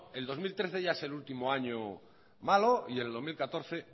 el dos mil trece ya es el último año malo y el dos mil catorce